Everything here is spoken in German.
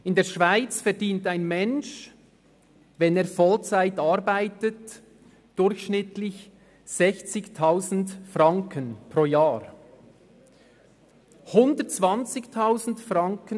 In der Schweiz verdient ein Mensch durchschnittlich 60 000 Franken pro Jahr, wenn er Vollzeit arbeitet.